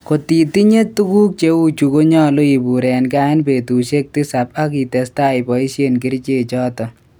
Kotitinye tuguk cheu chu konyalu ipur en gaa eng petusehk tisap ak itestai ipaishen kerche chato?